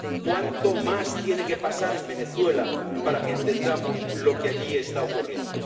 ¿Cuánto más tiene que pasar en Venezuela para que entendamos lo que allí está ocurriendo?